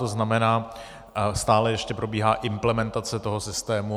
To znamená, stále ještě probíhá implementace toho systému.